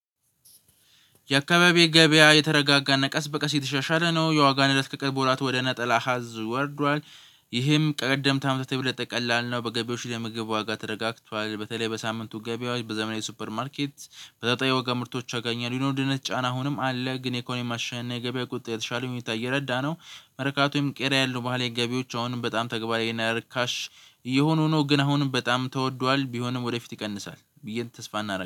የአካባቢ ገበያ የተረጋጋ አና ቀስ በቀስ የተሻሻለ ነው የዋጋ ንረት ከቀርብ ወራት ወደ ነጠላ አሀዝ ወርዷል። ይህም ቀደምት አመታት የበለጠ ቀላል ነው በገበያዎች ላይ የምግብ ዋጋ ተረጋግቷል በተለይ በሳምንቱ ገበያዎች በዘመናዊ ሱፐር ማርኬት ተመጠጣኝ የዋጋ ምርቶች አብዛኛ የኑሮ ዉድነት ጫና አሁንም አለ ግን የኢኮኖሚ ማሻሻያና የገበያ ቁጥጥር የተሻለ ሁኔታ እየረዳ ነው። መርካቶም ቄራ ያሉ ባሀላዊ ገቢያዎች አሁንም በጣም ተግባራዊ ይሄን ርካሽ እየሆኑ ነው። ግን አሁንም በጣም ተወዷል ቢሆንም ወደፊት ይቀንሳል ብዬ ተስፋ እናደርጋለን